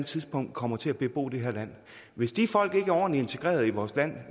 tidspunkt kommer til at bebo det her land hvis de folk vi er ordentligt integreret i vores land